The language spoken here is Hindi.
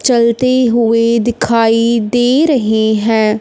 चलते हुई दिखाई दे रहे हैं।